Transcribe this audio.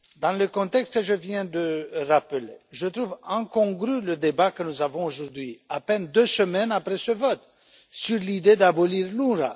Dans le contexte que je viens de rappeler, je trouve incongru le débat que nous avons aujourd'hui, à peine deux semaines après ce vote, sur l'idée d'abolir l'UNRWA.